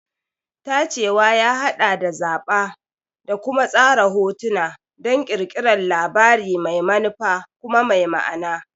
Tacewa ya haɗa da zaɓa da kuma tsara hotuna don ƙirƙirar labari mai manufa kuma mai ma'ana.